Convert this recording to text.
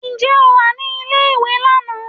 Ǹjẹ́ o wà ní ilé ìwé lánàá?